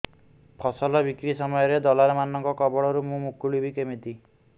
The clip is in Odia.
ଫସଲ ବିକ୍ରୀ ସମୟରେ ଦଲାଲ୍ ମାନଙ୍କ କବଳରୁ ମୁଁ ମୁକୁଳିଵି କେମିତି